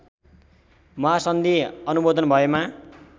महासन्धि अनुमोदन भएमा